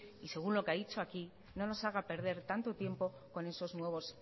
y según lo que ha dicho aquí no nos haga perder tanto tiempo con esos nuevos